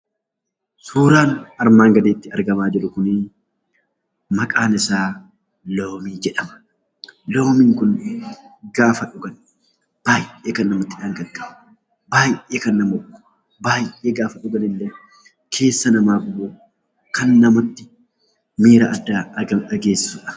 Suuraan armaan gadiitti argamaa jiru kun maqaan isaa loomii jedhama. Loomiin kun gaafa dhugan baay'ee kan namatti dhangaggaa'u baay'ee gaafa dhuganillee keessa namaa kana namatti miira addaa dhageessisudha.